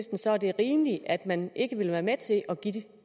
så det er rimeligt at man ikke vil være med til at give dem